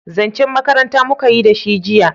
zancen makaranta muka yi da shi jiya